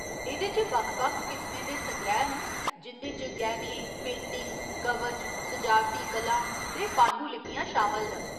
एह्दे च बक्ख बक्ख किसमें दे संग्रैह् न जिं'दे च गैह्‌ने, पेंटिंग्स, कवच, सजावटी कलां ते पांडुलिपियां शामल न।